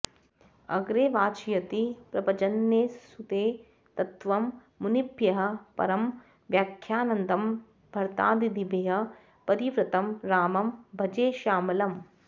अग्रे वाचयति प्रभञ्जनेसुते तत्त्वं मुनिभ्यः परं व्याख्यान्तं भरतादिभिः परिवृतं रामं भजे श्यामलम्